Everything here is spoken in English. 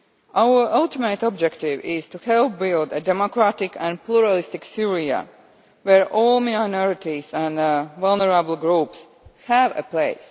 Our ultimate objective is to help build a democratic and pluralist Syria where all minorities and vulnerable groups have a place.